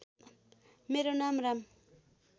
मेरो नाम राम